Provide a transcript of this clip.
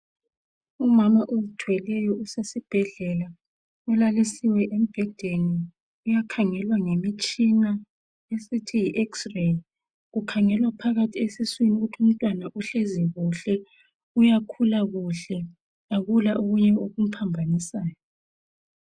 Umama ozithweleyo usesibhedlela ulalisiwe embhedeni uyakhangelwa ngemitshina osithi yi x ray ukhangelwa phakathi esiswini ukuthi umntwana uhlezi kuhle uyakhula kuhle akula okunye okumphambanisayo.